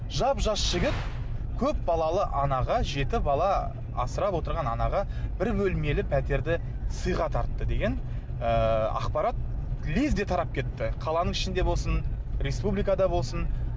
жап жас жігіт көп балалы анаға жеті бала асырап отырған анаға бір бөлмелі пәтерді сыйға тартты деген ыыы ақпарат лезде тарап кетті қаланың ішінде болсын республикада болсын